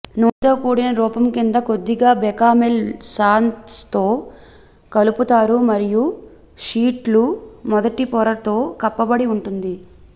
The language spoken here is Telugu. నూనెతో కూడిన రూపం క్రింద కొద్దిగా బెకామెల్ సాస్తో కలుపుతారు మరియు షీట్లు మొదటి పొరతో కప్పబడి ఉంటుంది